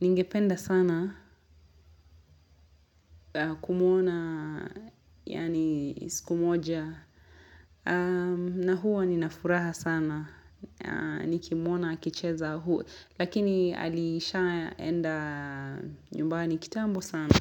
ningependa sana kumuona yani siku moja na huwa ninafuraha sana Nikimuona akicheza huu, Lakini alishaenda nyumbani kitambo sana.